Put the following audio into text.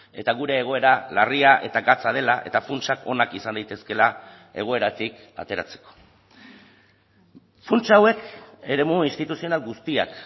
eta gure egoera larria eta gatza dela eta funtsak onak izan daitezkeela egoeratik ateratzeko funts hauek eremu instituzional guztiak